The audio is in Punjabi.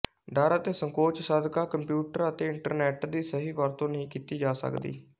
ਡਰ ਅਤੇ ਸੰਕੋਚ ਸਦਕਾ ਕੰਪਿਊਟਰ ਅਤੇ ਇੰਟਰਨੈੱਟ ਦੀ ਸਹੀ ਵਰਤੋਂ ਨਹੀਂ ਕੀਤੀ ਜਾ ਸਕਦੀ